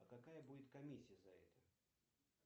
а какая будет комиссия за это